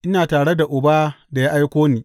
Ina tare da Uba da ya aiko ni.